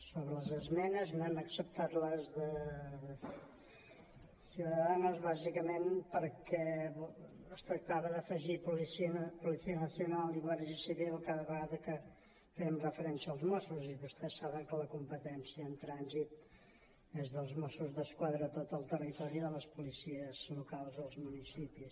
sobre les esmenes no hem acceptat les de ciudadanos bàsicament perquè es tractava d’afegir policia nacional i guàrdia civil cada vegada que fèiem referència als mossos i vostès saben que la competència en trànsit és dels mossos d’esquadra a tot el territori i de les policies locals als municipis